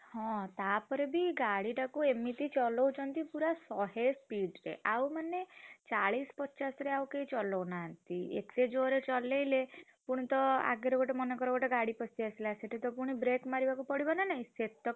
ହଁ ତାପରେ ବି ଗାଡି ଟାକୁ ଏମିତି ଚଲଉଛନ୍ତି ପୁରା ଶହେ speed ରେ ଆଉ ମାନେ ଚାଳିଶ ପଚାଶରେ ଆଉ କେହି ଚଲଉ ନାହାନ୍ତି ଏତେ ଜୋରେ ଚଲେଇଲେ ପୁଣିତ ଆଗରେ ଗୋଟେ ମାନେକର ଗୋଟେ ଗାଡି ପସିଆସିଲା ସେଠିତ ପୁଣି brake ମାରିବାକୁ ପଡିବ ନା ନାହିଁ ସେତକ।